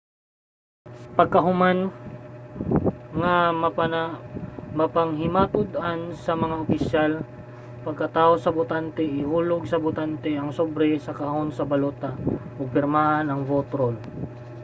pagkahuman nga mapanghimatud-an sa mga opisyal ang pagkatawo sa botante ihulog sa botante ang sobre sa kahon sa balota ug pirmahan ang vote roll